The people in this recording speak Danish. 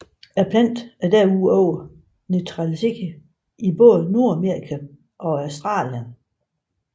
Planten er desuden naturaliseret i Både Nordamerika og Australien